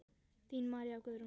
Þín María Guðrún.